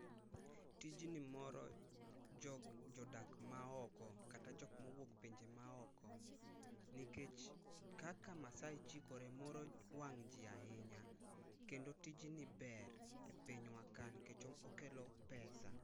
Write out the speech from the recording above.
Tijni moro jok, jodak maoko kata jok mowuok pinje maoko nikech kaka Maasai chikore moro wang jii ahinya kendo tijni ber e pinywa ka nikech okelo pesa